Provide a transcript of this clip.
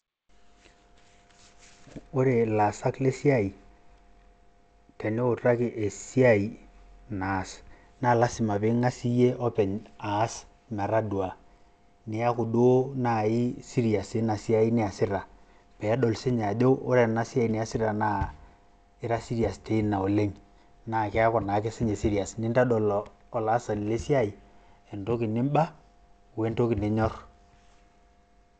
Ore ilaasak le siai teniutaki esiai naas naa lazima pee ing`as iyie openy aas metadua. Niaku duo naaji serious teina siai naasita pee edol sii ninye ajo ore ena siai naa ira serious teina oleng. Naa keeku naake sii ninye serious. Nintodol olaasani le siai entoki nim`ba o entoki ninyorr.